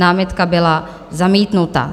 Námitka byl zamítnuta.